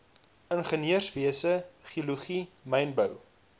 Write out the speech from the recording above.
ingenieurswese geologie mynbou